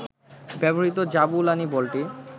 ব্যবহৃত জাবুলানি বলটি